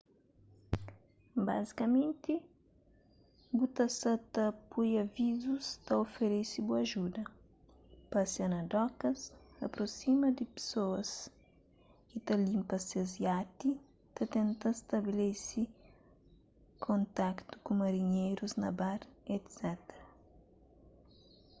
bazikamenti bu ta sa ta poi avizus ta oferese bu ajuda pasia na dokas aprosima di pesoas ki ta linpa ses iati ta tenta stabelese kontaktu ku marinherus na bar etc